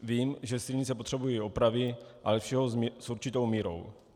Vím, že silnice potřebují opravy, ale všeho s určitou mírou.